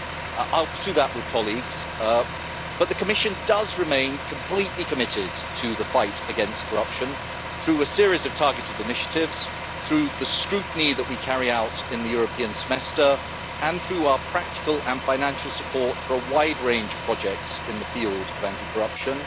I will pursue that with colleagues, but the Commission does remain completely committed to the fight against corruption through a series of targeted initiatives, through the scrutiny that we carry out in the European Semester, and through our practical and financial support for a wide range of projects in the field of anti corruption.